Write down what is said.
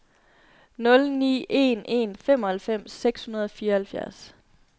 nul ni en en femoghalvfems seks hundrede og fireoghalvfjerds